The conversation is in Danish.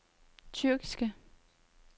tyrkiske